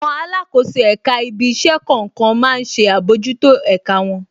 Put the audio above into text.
Àwọn alákòóso èka ibí iṣẹ́ kọ̀ọ̀kan má ń ṣe àbójútó ẹ̀ka wọn.